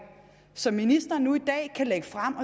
som ministeren nu i dag kan lægge frem